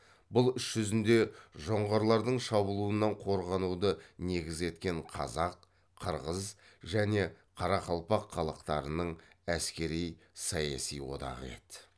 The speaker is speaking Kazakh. бұл іс жүзінде жоңғарлардың шабуылынан қорғануды негіз еткен қазақ қырғыз және қарақалпақ халықтарының әскери саяси одағы еді